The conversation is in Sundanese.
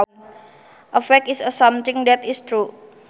A fact is something that is true